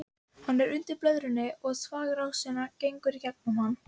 Hann er undir blöðrunni og þvagrásin gengur í gegnum hann.